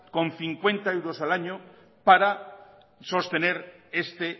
con cincuenta euros al año para sostener este